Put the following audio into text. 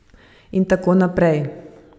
In tako naprej.